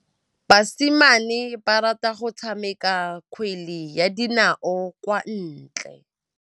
Basimane ba rata go tshameka kgwele ya dinaô kwa ntle.